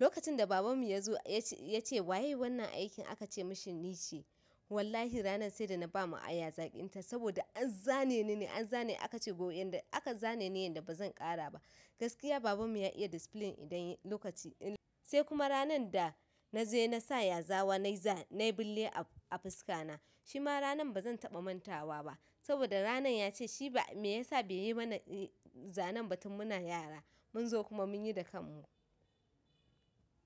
Lokacin da babanmu ya zo ya ce, ya ce waye yayi wannan aikin aka ce mashi ni ce. Wallahi ranan sai da na ba ma aya zaƙin ta saboda an zane ni ne, an zane aka ce go yanda aka zane ni ne yanda ba zan ƙara ba. Gaskiya babanmu ya iya discipline idan lokaci, sai kuma ranan da na je na sa yazawa nai za nai bille a fuska na. Shi ma ranan ba zan taɓa mantawa ba saboda ranan ya ce shi ba me ya sa bai yi mana zanen ba tun muna yara. Mun zo kuma mun yi da kanmu.